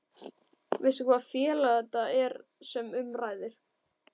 Veistu hvaða félag þetta er sem um ræðir?